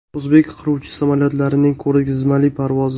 O‘zbek qiruvchi samolyotlarining ko‘rgazmali parvozi.